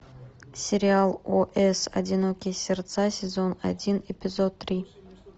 сериал о с одинокие сердца сезон один эпизод три